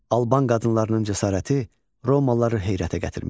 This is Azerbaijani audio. Alban qadınlarının cəsarəti romalıları heyrətə gətirmişdi.